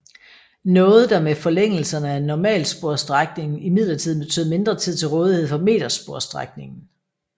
Noget der med forlængelserne af normalsporsstrækningen imidlertid betød mindre tid til rådighed for metersporsstrækningen